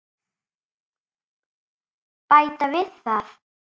Bæta við það.